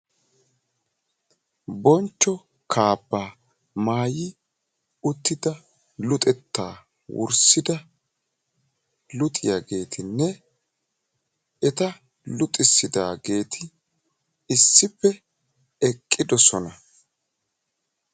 bonchcho kaabba maayyi uttida luxetta wurssida luxiyaageetinne eta luxissidaageeti issippe eqidoosona